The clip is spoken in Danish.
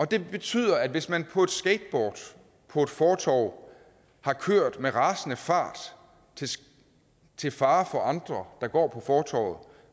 det betyder at hvis man på et skateboard på et fortov har kørt med rasende fart til fare for andre der går på fortovet